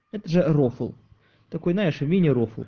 это же рофл такой знаешь мини рофл